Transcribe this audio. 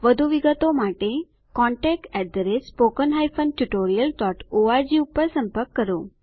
વધુ વિગતો માટે contactspoken tutorialorg પર સંપર્ક કરો